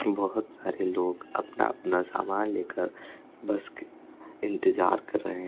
बहोत सारे लोग अपना अपना सामान लेकर बस के इंतजार कर रहे है।